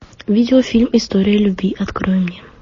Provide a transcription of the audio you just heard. видеофильм история любви открой мне